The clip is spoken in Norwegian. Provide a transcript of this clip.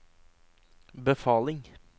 befaling